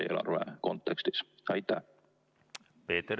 Peeter Ernits, palun!